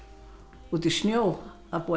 út í snjó að búa til